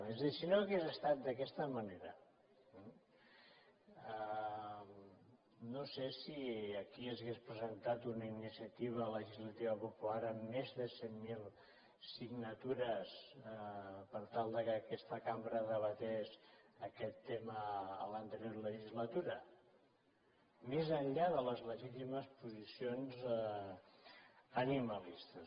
és a dir si no hagués estat d’aquesta manera no sé si aquí s’hauria presentat una iniciativa legislativa popular amb més de cent mil signatures per tal que aquesta cambra debatés aquest tema en l’anterior legislatura més enllà de les legítimes posicions animalistes